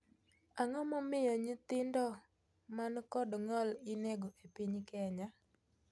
Ang'o momiyo nyithindoman kod ng'ol inego epiny Kenya?